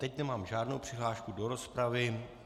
Teď nemám žádnou přihlášku do rozpravy.